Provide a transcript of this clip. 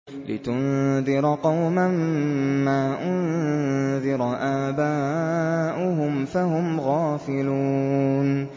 لِتُنذِرَ قَوْمًا مَّا أُنذِرَ آبَاؤُهُمْ فَهُمْ غَافِلُونَ